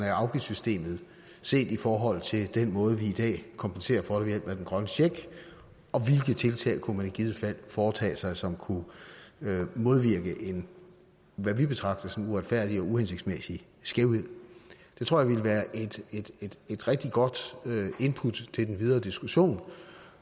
af afgiftssystemet set i forhold til den måde vi i dag kompenserer for ved hjælp af den grønne check og hvilke tiltag man i givet fald foretage sig som kunne modvirke hvad vi betragter som en uretfærdig og uhensigtsmæssig skævhed det tror jeg ville være et rigtig godt input til den videre diskussion